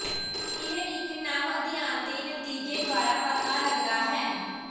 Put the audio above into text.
ਇਹ ਇੱਕ ਨਵ ਅਧਿਐਨ ਦੇ ਨਤੀਜੇ ਦੁਆਰਾ ਪਤਾ ਲੱਗਦਾ ਹੈ